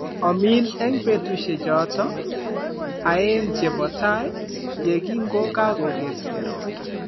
Omin eng' peetuusyechooto aeng' che po tai, ye kingo kagogeskei ropta.